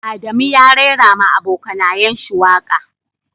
Adamu ya raira ma abokanayen shi waka.